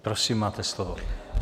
Prosím, máte slovo.